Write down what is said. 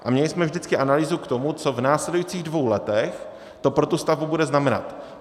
A měli jsme vždycky analýzu k tomu, co v následujících dvou letech to pro tu stavbu bude znamenat.